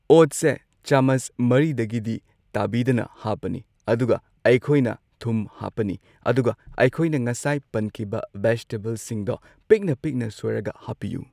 ꯑꯣꯠꯁꯦ ꯆꯥꯃꯁ ꯃꯔꯤꯗꯒꯤꯗꯤ ꯇꯥꯕꯤꯗꯅ ꯍꯥꯞꯄꯅꯤ ꯑꯗꯨꯒ ꯑꯩꯈꯣꯏꯅ ꯊꯨꯝ ꯍꯥꯞꯄꯅꯤ ꯑꯗꯨꯒ ꯑꯩꯈꯣꯏꯅ ꯉꯁꯥꯏ ꯄꯟꯈꯤꯕ ꯕꯦꯖꯤꯇꯦꯕꯜꯁꯤꯡꯗꯣ ꯄꯤꯛꯅ ꯄꯤꯛꯅ ꯁꯣꯏꯔꯒ ꯍꯥꯞꯄꯤꯌꯨ꯫